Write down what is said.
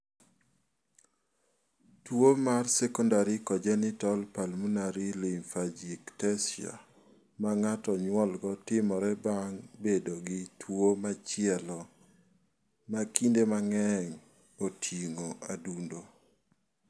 Tuo mar Secondary congenital pulmonary lymphangiectasia ma ng�ato nyuolgo timore bang� bedo gi tuo machielo, ma kinde mang�eny oting�o adundo.